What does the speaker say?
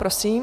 Prosím.